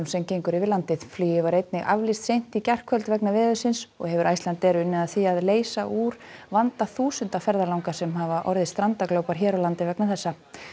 sem gengur yfir landið flugi var einnig aflýst seint í gærkvöld vegna veðursins og hefur Icelandair unnið að því að leysa úr vanda þúsunda ferðalanga sem hafa orðið strandaglópar hér á landi vegna þess